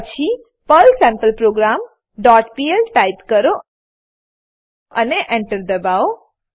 પછી પર્લ sampleprogramપીએલ ટાઈપ કરો અને Enter દબાવો